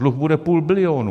Dluh bude půl bilionu.